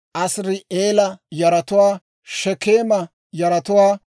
Asiri'eela yaratuwaa, Shekeema yaratuwaa,